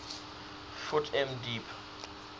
ft m deep